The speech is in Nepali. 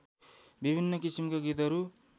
विभिन्न किसिमका गीतहरू